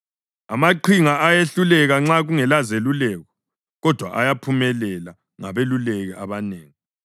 Amaqhinga ayehluleka nxa kungelazeluleko, kodwa ayaphumelela ngabeluleki abanengi.